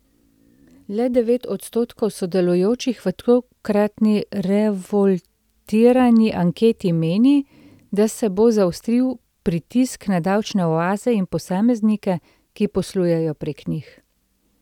Le devet odstotkov sodelujočih v tokratni Revoltirani anketi meni, da se bo zaostril pritisk na davčne oaze in posameznike, ki poslujejo prek njih.